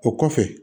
O kɔfɛ